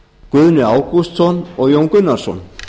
guðni ágústsson og jón gunnarsson